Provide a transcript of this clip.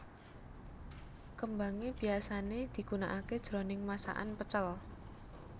Kembangé biyasané digunakaké jroning masakan pecel